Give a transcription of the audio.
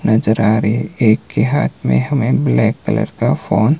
नजर आ रही एक के हाथ में हमें ब्लैक कलर का फोन --